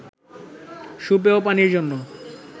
সুপেয় পানির জন্য